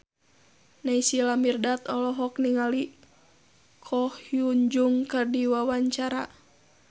Naysila Mirdad olohok ningali Ko Hyun Jung keur diwawancara